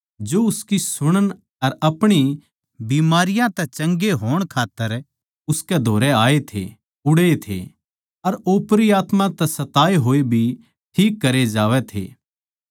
जो उसकी सूणने अर अपणी बीमारियाँ तै चंगे होण खात्तर उसकै धोरै आए थे उड़ै थे अर ओपरी आत्मा तै सताए होए भी ठीक करे जावै थे